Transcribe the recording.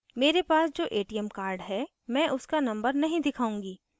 मेरे पास जो atm card हैं मैं उसका number नहीं दिखाऊंगी